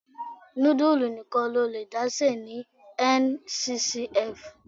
Nudulu nìkan lo lè dá se ní Nccf.